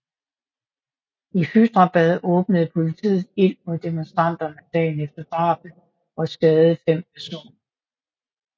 I Hyderabad åbnede politiet ild mod demonstranter dagen efter drabet og skadede fem personer